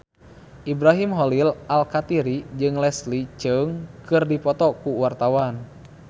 Ibrahim Khalil Alkatiri jeung Leslie Cheung keur dipoto ku wartawan